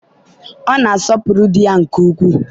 ọ na-asọpụrụ di ya nke ukwuu.